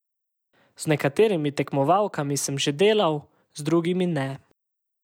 Z nekaterimi tekmovalkami sem že delal, z drugimi ne.